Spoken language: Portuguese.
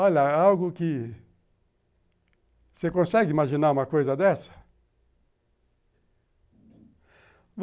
Olha, é algo que... Você consegue imaginar uma coisa dessa?